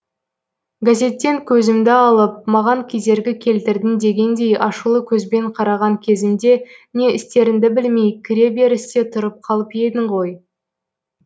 газеттен көзімді алып маған кедергі келтірдің дегендей ашулы көзбен қараған кезімде не істеріңді білмей кіре берісте тұрып қалып едің ғой